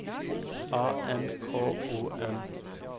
A N K O M